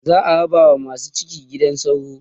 za'a raba wa masu ciki gidan sauro